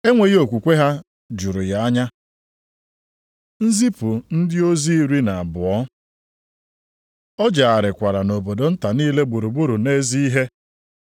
Enweghị okwukwe ha juru ya anya. Nzipụ ndị ozi iri na abụọ O jegharịkwara nʼobodo nta niile gburugburu na-ezi ihe.